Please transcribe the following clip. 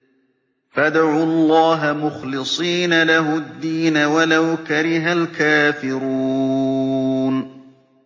فَادْعُوا اللَّهَ مُخْلِصِينَ لَهُ الدِّينَ وَلَوْ كَرِهَ الْكَافِرُونَ